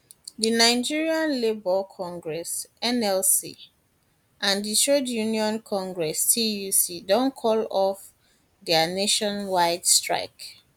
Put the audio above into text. di nigeria labour nigeria labour congress nlc and di trade union congress tuc don call off off dia nationwide strike